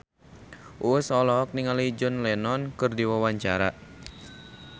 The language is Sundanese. Uus olohok ningali John Lennon keur diwawancara